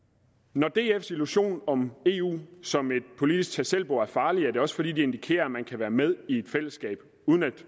når dfs illusion om eu som et politisk tag selv bord er farlig er det også fordi det indikerer at man kan være med i et fællesskab uden at